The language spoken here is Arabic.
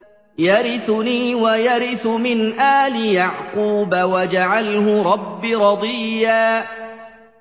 يَرِثُنِي وَيَرِثُ مِنْ آلِ يَعْقُوبَ ۖ وَاجْعَلْهُ رَبِّ رَضِيًّا